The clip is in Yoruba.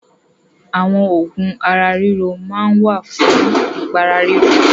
Àwọn oògùn ara-ríro wà fún ìpàrora.